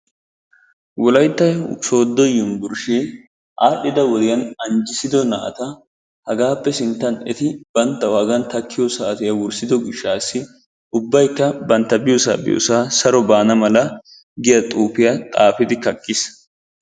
Wolaytta sooddo yunbburshshe aadhdhida wodiyaan anjjissido naata hagappe sinttan eti banttawu hagan takkiyo saatiyaa wurssido gishshatassi ubbaykka bantta biyoosa biyoosa saro baana mala giyaa xuufiya xaafidi kaqqiis.